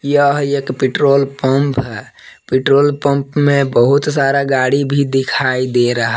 यह एक petrol pump है पेट्रोल पंप में बहुत सारा गाड़ी भी दिखाई दे रहा--